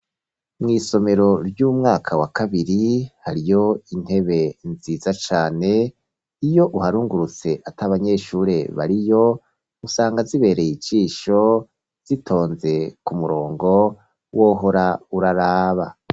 Mw'isomero ry'umwaka wa kabiri, hariyo intebe nziza cane, iyo uharungurutse ata banyeshure bariyo, usanga zibereye ijisho, zitonze ku murongo, wohora uraraba.